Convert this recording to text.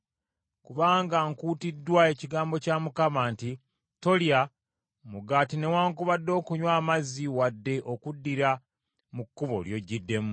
Kubanga nkuutiddwa ekigambo kya Mukama nti, ‘Tolya mugaati newaakubadde okunywa amazzi wadde okuddira mu kkubo ly’ojjiddemu.’ ”